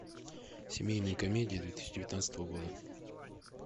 семейные комедии две тысячи девятнадцатого года